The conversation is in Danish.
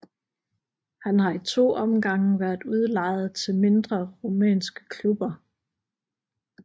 Han har i to omgange været udlejet til mindre rumænske klubber